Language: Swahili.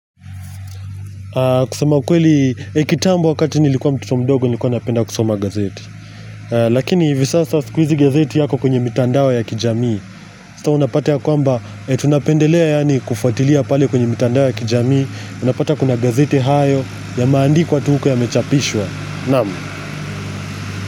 Kusema kweli, kitambo wakati nilikuwa mtoto mdogo nilikuwa napenda kusoma gazeti Lakini visasa sikuizi gazeti yako kwenye mitandao ya kijamii Sasa unapata ya kwamba, tunapendelea yani kufuatilia pale kwenye mitandao ya kijamii Unapata kuna gazeti hayo yameandikwa tu huko ya mechapishwa Naam.